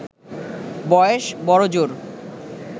বয়স বড়জোর